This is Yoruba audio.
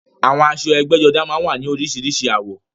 Àwọn aṣọ ẹgbẹ́jọdá máa ń wá ní oríṣiríṣi àwọ̀